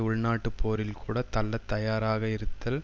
உள்நாட்டுப் போரில் கூட தள்ளத் தயாராக இருத்தல்